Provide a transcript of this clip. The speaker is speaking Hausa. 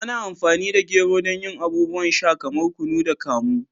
Ana amfani da gero don yin abubuwan sha kamar kunu da kamu.